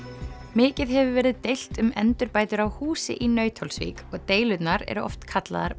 mikið hefur verið deilt um endurbætur á húsi í Nauthólsvík og deilurnar oft kallaðar